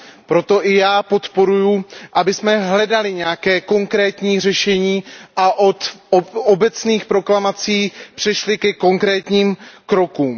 Proto i já podporuji, abychom hledali nějaké konkrétní řešení, a od obecných proklamací přešli ke konkrétním krokům.